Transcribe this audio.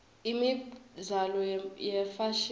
imibzalo yefashini